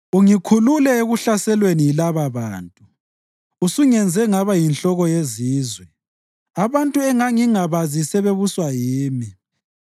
Ungikhulule ekuhlaselweni yilababantu; usungenze ngaba yinhloko yezizwe; abantu engangingabazi sebebuswa yimi.